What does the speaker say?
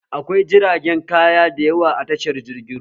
Akwai jiragen kaya da yawa a tashar jirgin ruwa